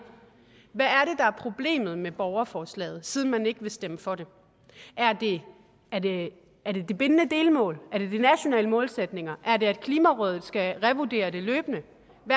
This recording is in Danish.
er problemet med borgerforslaget siden man ikke vil stemme for det er det er det de bindende delmål er det de nationale målsætninger er det at klimarådet skal revurdere det løbende